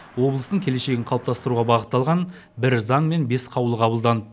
облыстың келешегін қалыптастыруға бағытталған бір заң мен бес қаулы қабылданды